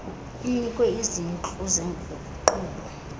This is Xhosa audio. inikwe izintlu zeenkqubo